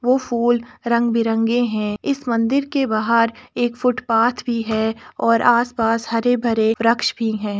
वो फूल रंग बिरंगे हैं। इस मंदिर के बाहर एक फूटपाथ भी है और आस पास हरे भरे वृक्ष भी हैं।